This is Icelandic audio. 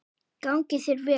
Gangi þér vel.